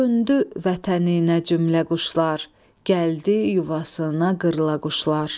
Döndü vətəninə cümlə quşlar, gəldi yuvasına qırlaquşlar.